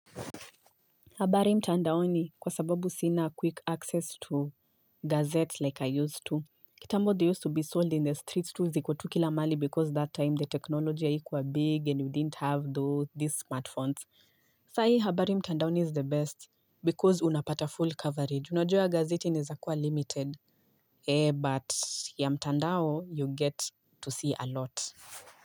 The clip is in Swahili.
Habari mtandaoni kwa sababu sina quick access to gazette like I used to. Kitambo they used to be sold in the streets tu zikotu kila mali because that time the technology ya ikuwa big and you didn't have those these smartphones. Sai, habari mtandaoni is the best because unapata full coverage. Unajo ya gazeti nizakuwa limited. Eh, but ya mtandao, you get to see a lot.